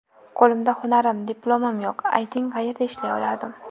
Qo‘limda hunarim, diplomim yo‘q, ayting qayerda ishlay olardim.